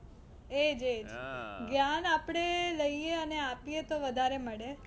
એજ એજ જ્ઞાન આપણે લઈએ અને આપીએ તો વધારે મળે.